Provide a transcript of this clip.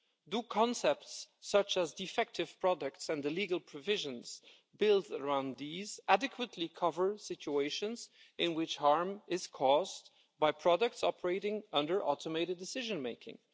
Do concepts such as defective products and the legal provisions built around these adequately cover situations in which harm is caused by products operating under automated decision making?